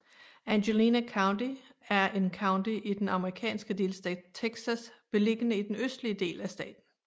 Angelina County er en county i den amerikanske delstat Texas beliggende i den østlige del af staten